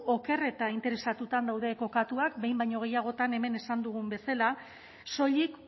oker eta interesatuta daude kokatuak behin baino gehiagotan hemen esan dugun bezala soilik